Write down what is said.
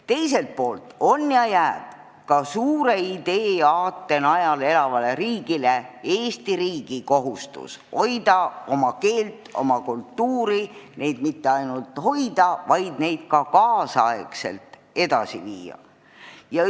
Teiselt poolt jääb ka suure aate najal elavale Eesti riigile kohustus hoida oma keelt ja oma kultuuri, ja neid mitte ainult hoida, vaid ka kaasaegselt edasi arendada.